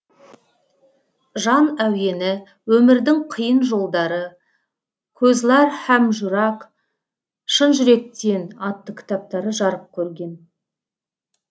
жан әуені өмірдің қиын жолдары көзлар һам журак шын жүректен атты кітаптары жарық көрген